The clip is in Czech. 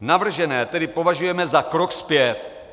Navržené tedy považujeme za krok zpět."